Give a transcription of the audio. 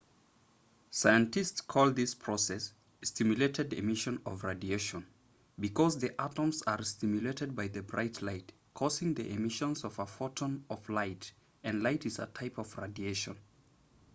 scientists call this process stimulated emission of radiation because the atoms are stimulated by the bright light causing the emission of a photon of light and light is a type of radiation